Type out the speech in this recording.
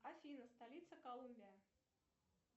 афина столица колумбия